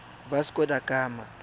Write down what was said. vasco da gama